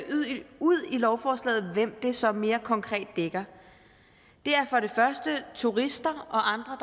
i lovforslaget hvem det så mere konkret er det er for det første turister og andre